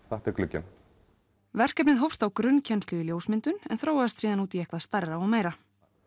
þetta er glugginn verkefnið hófst á grunnkennslu í ljósmyndun en þróaðist síðan út í eitthvað stærra og meira